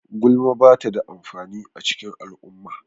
Gulma ba ta da amfani a cikin al'umma.